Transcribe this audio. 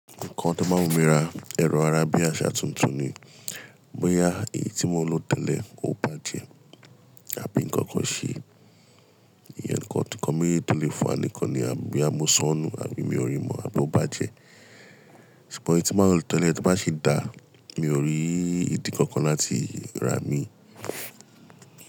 Nǹkan tó máa mú mi rà ẹrọ̀ ayarabíàsá tuntun ni, bóyá èyí tí mo n lò tẹ́lẹ̀ ò bá jẹ àbí ǹkankan ṣe. Nkan ǹkan méjì tó lè faa níkan ni àbí boya mo ṣọ́onù àbí mi ò rí mọ̀ á bó bá jẹ́ ṣùgbọ́n èyí tí màá lò tẹ́lẹ̀ tí bá ṣe dá mi ò rí ìdí kankan láti rà á mi.